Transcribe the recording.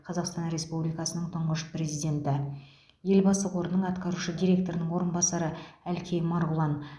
қазақстан республикасының тұңғыш президенті елбасы қорының атқарушы директорының орынбасары әлкей марғұлан